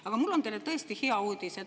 Aga mul on teile tõesti hea uudis.